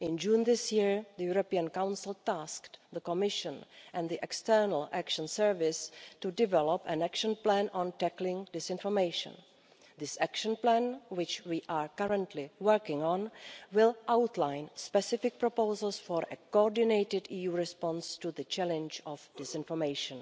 In June this year, the European Council tasked the Commission and the External Action Service to develop an action plan on tackling disinformation. This action plan, which we are currently working on, will outline specific proposals for a coordinated EU response to the challenge of disinformation.